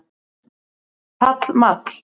Pall Mall